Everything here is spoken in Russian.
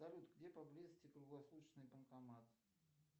салют где поблизости круглосуточный банкомат